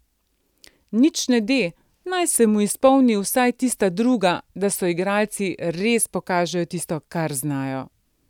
Nič ne de, naj se mu izpolni vsaj tista druga, da s soigralci res pokažejo tisto, kar znajo.